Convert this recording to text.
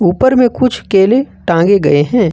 ऊपर में कुछ केले टांगे गए हैं।